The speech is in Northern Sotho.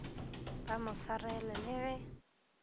ba mo swarela le ge